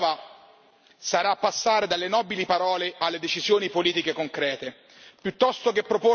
Ma il vero banco di prova sarà passare dalle nobili parole alle decisioni politiche concrete.